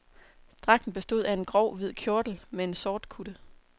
Dragten bestod af en grov, hvid kjortel med en sortkutte.